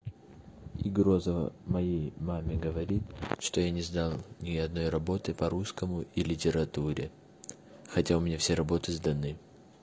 и грозова моей маме говорит что я не знал ни одной работы по русскому и литературе хотя у меня все работы сданы